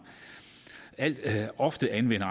ofte anvender